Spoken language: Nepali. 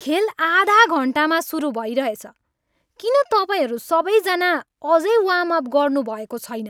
खेल आधा घन्टामा सुरु भइरहेछ। किन तपाईँहरू सबैजना अझै वार्म अप गर्नुभएको छैन?